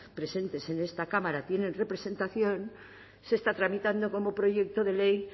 presentes en esta cámara tienen representación se está tramitando como proyecto de ley